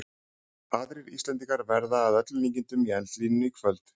Aðrir Íslendingar verða að öllum líkindum í eldlínunni í kvöld.